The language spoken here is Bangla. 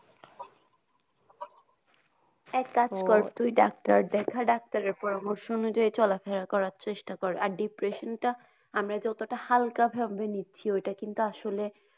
এক কাজ কর তুই ডাক্তার দেখা doctor পরমর্শ অনুযায়ী চলাফেরা করার চেষ্টা কর আর depression টা আমরা যে অতো টা হালকা ভাবে নিচ্ছি ওই টা কিন্তু আসলে।